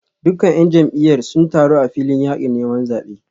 Dukkan ‘yan jam’iyyar sun taru a filin yakin neman zabe